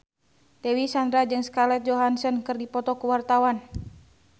Dewi Sandra jeung Scarlett Johansson keur dipoto ku wartawan